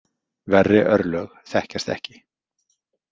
Verri örlög þekkjast ekki.